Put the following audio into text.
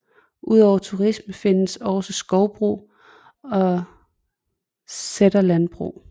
Udover turisme findes også skovbrug og sæterlandbrug